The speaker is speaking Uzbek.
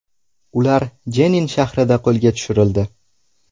Ular Jenin shahrida qo‘lga tushirildi.